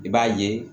I b'a ye